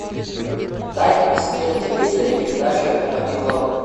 дай мне посмотреть на телевизоре передачу м один глобал